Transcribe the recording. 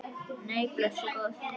Nei, blessuð góða.